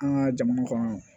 An ka jamana kɔnɔ